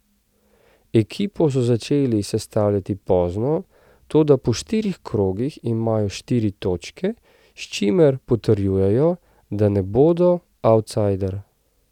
Ekipo so začeli sestavljati pozno, toda po štirih krogih imajo štiri točke, s čimer potrjujejo, da ne bodo avtsajder.